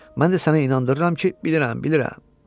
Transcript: Mən də sənə inandırıram ki, bilirəm, bilirəm.